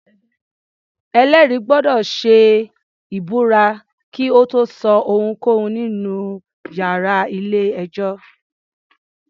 Ẹ̀lẹ́rìí gbọ́dọ̀ ṣe ìbúra kí ó tó sọ ohunkóhun nínú iyàrá ilé-ẹjọ́.